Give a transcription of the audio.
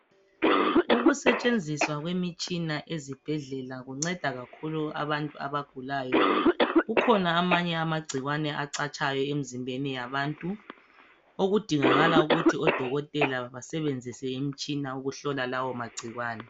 Ukusetshenziswa kwemitshina ezibhedlela kunceda kakhulu abantu abagulayo, kukhona amanye amagcikwane acatshayo emizimbeni yabantu okudingakala ukuthi odokotela basebenzise imitshina ukuhlola lawo magcikwane.